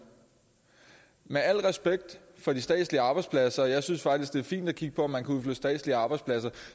med al respekt for de statslige arbejdspladser og jeg synes faktisk det er fint at kigge på om man kan udflytte statslige arbejdspladser